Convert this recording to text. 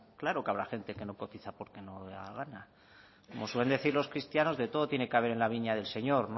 claro que habrá gente que no cotiza porque no le da la gana como suelen decir los cristianos de todo tiene que haber en la viña del señor